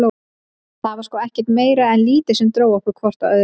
Það var sko ekkert meira en lítið sem dró okkur hvort að öðru.